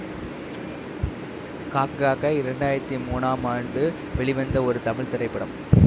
காக்க காக்க இரண்டு ஆயிரத்தி மூனாம் ஆண்டு வெளிவந்த ஒரு தமிழ் திரைப்படம்